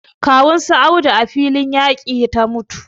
Kawun su Audu a filin yaƙi ta mutu